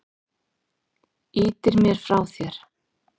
Ýtir mér frá þér.